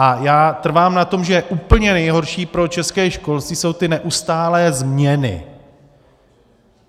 A já trvám na tom, že úplně nejhorší pro české školství jsou ty neustálé změny.